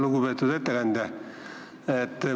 Lugupeetud ettekandja!